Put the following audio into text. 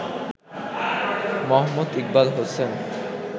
Md. Iqbal Hossain